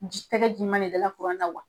tɛgɛ. jima de dala kuran na wa?